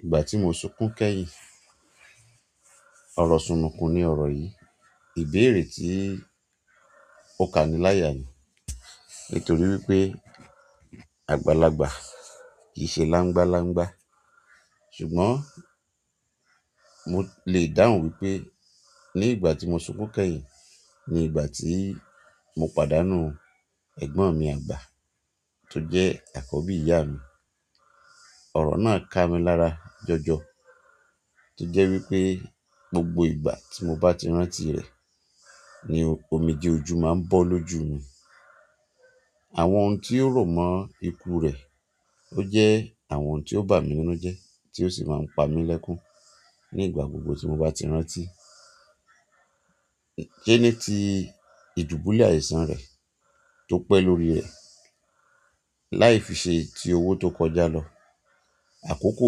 Ìgbà tí mo sunkún kẹ́yìn, ọrọ̀ súnùnkún ni ọ̀rọ̀ yìí, ìbéèrè tí ó kaniláyà ni. Nítorí wípé àgbàlagbà kì í ṣe láńgbá láńgbá. Ṣùgbọ́n mo lè dáhùn wípé ní ìgbà tí mo sunkún kẹ́yìn ni ìgbà tí mo pàdánù ẹ̀gbọ́n mi àgbà tó jẹ́ àkọ́bí ìyá mi. Ọ̀rọ̀ náà ká mi lára jọjọ. Tí jẹ́ wípé gbogbo ìgbà tí mo bá ti rántí rẹ̀ ni omijéòjú máa ń bọ́ lójú mi. Àwọn ohun tí ó romọ́ ikú rẹ̀, ó jẹ́ àwọn ohun tí ó bà mí nínú jẹ́, tí ó sì máa ń pa mí lẹ́kún ní ìgbà gbogbo tí mo bá ti rántí. Sẹ́ní ti ìdúbúlẹ̀ àìsàn rẹ̀ tó pẹ́ lórí ẹ láì fi ṣe ti owó tó kọjá lọ. Àkókò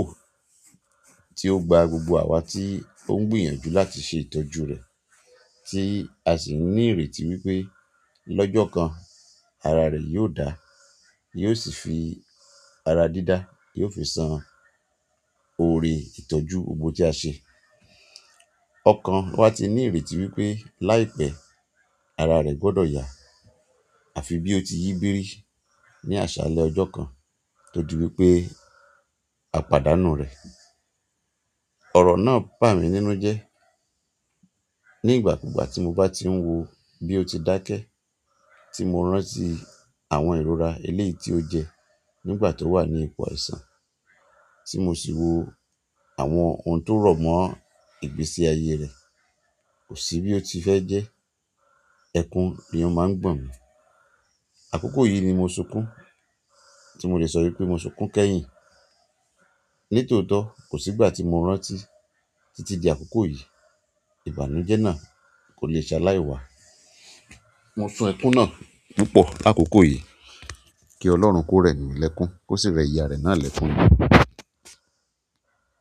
tí ó gba gbogbo àwa tí ó ń gbìyànjú láti ṣe ìtọ́jú rẹ̀ tí a sì ní ìrètí wípé lọ́jọ́ kan ara rẹ̀ yóò dáa, yóò sì fi ara dídá, yóò fi san ọ̀rẹ́ ìtọ́jú gbogbo tí a ṣe. Ọ̀kan wa ti ní ìrètí wípé láìpẹ́ ara rẹ̀ gbọ́dọ̀ yà àfi bí ó ti yí bírí ní àṣálẹ́ ọjọ́ kan todí wípé a pàdánù rẹ̀. Ọ̀rọ̀ náà bà mí nínú jẹ́ ní ìgbà kúgbà tí mo bá ti ń wò bí ó ti dákẹ́ tí mo rántí àwọn ìrora eléèti ó jẹ nígbà tó wà ní ipò àìsàn tí mo sì wò àwọn ohun tó rọ̀mọ́ ìgbésí ayé rẹ̀ kò sí bí ó ti fẹ́ jẹ́. Ẹkún ni ó máa ń gbọ̀n mí. Àkókò yìí ni mo sunkún tí mo lè sọ wípé mo sunkún kẹ́yìn. Nítootọ̀ kò sí ìgbà tí mo rántí tí tí di àkókò yìí. Ìbànújẹ́ nà kólé salai wà. Mo sun ẹkún náà púpọ̀ làkókò yìí kí Ọlọ́run kó rẹ̀ mí ìlẹ́kún kó sì rẹ ìyá rẹ̀ náà lẹ́kún ní.